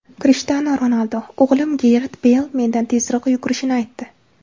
Krishtianu Ronaldu: O‘g‘lim Garet Beyl mendan tezroq yugurishini aytdi.